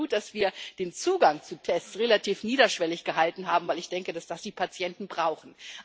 Ich finde es gut, dass wir den Zugang zu Tests relativ niederschwellig gehalten haben, weil ich denke, dass die Patienten das brauchen.